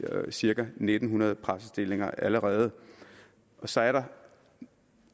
cirka en ni hundrede præstestillinger allerede så er der